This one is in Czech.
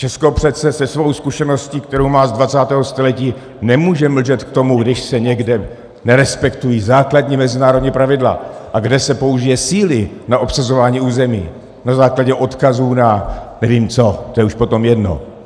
Česko přece se svou zkušeností, kterou má z 20. století, nemůže mlčet k tomu, když se někde nerespektují základní mezinárodní pravidla, a kde se použije síly na obsazování území na základě odkazů na nevím co, to už je potom jedno.